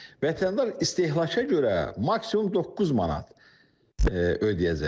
Vətəndaş istehlaka görə maksimum doqquz manat ödəyəcək.